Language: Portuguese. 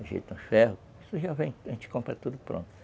Ajeita um ferro, isso já vem, a gente compra tudo pronto.